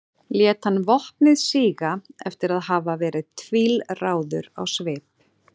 lét hann vopnið síga eftir að hafa verið tvílráður á svip